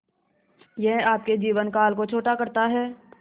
यह आपके जीवन काल को छोटा करता है